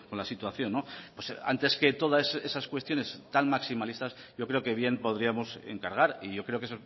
la situación antes que todas esas cuestiones tan maximalistas yo creo que bien podríamos encargar y yo creo que